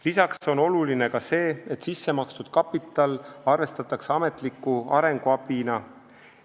Lisaks on oluline see, et sissemakstud kapital arvestatakse ametliku arenguabina.